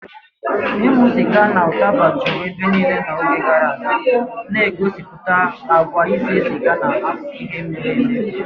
Ịṅụ sịga na ụtaba juru ebe niile n'oge gara aga, na-egosipụta àgwà ise siga n'akụkọ ihe mere eme.